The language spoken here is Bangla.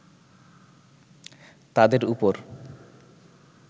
তাদের উপর